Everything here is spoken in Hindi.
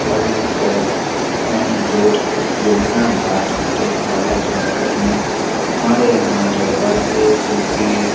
work shop main road Semnabad टेक बाला जीला कटनी हमारे यहां दरवाजे खिड़की--